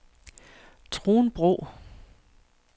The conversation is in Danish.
Trunbro